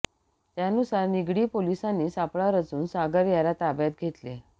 त्यानुसार निगडी पोलिसांनी सापळा रचून सागर याला ताब्यात घेतले